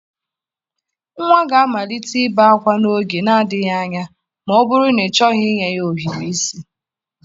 Nwa ga-amalite ibe ákwá n'oge na-adịghị anya ma ọ bụrụ na ịchọghị inye ya ohiri isi.